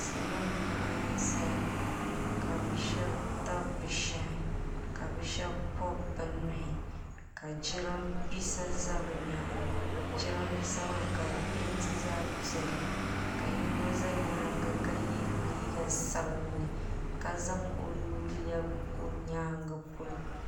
salo n laɣim ʒɛya ka be shɛbi tabi be shɛhi ka be shɛbi pobi bɛ nuhi ka jarinibɛsa za be nyɛŋa jarinibɛsa maa ka di pɛntɛ zaɣ piɛli ka yiga za nyɛŋa ka yɛ liga sabinli ka zaŋ o nu lɛbigi kpa o nyɛgi polo